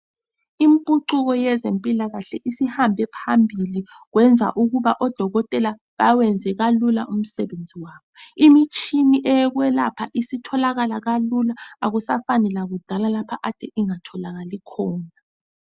Impucuko yezempilakahle isihambe phambili, kwenza ukuba odokotela bawenze kalula umsebenzi wabo, imitshina yokwelapha isitholakala kalula, akusafani lakudala lapho kade ingatholakali khona.